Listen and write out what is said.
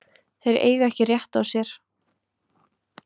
Þeir eiga ekki rétt á sér.